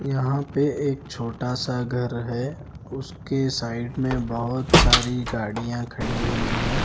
यहाँ पे एक छोटा सा घर हैं उसके साइड में बहुत सारी गाड़ियाँ खड़ी हुई हैं ।